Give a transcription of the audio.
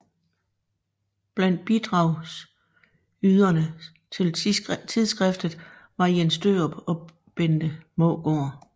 Blandt bidragyderne til tidsskriftet var Jens Dørup og Bente Maegaard